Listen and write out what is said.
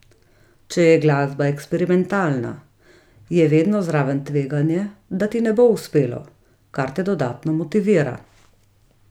Če je glasba eksperimentalna, je vedno zraven tveganje, da ti ne bo uspelo, kar te dodatno motivira.